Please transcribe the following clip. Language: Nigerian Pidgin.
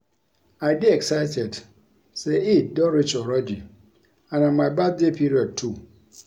I dey excited say Eid don reach already and na my birthday period too